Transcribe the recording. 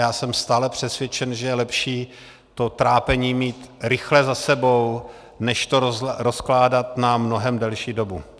Já jsem stále přesvědčen, že je lepší to trápení mít rychle za sebou než to rozkládat na mnohem delší dobu.